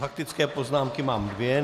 Faktické poznámky mám dvě.